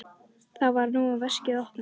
Þar var nú veskið opnað.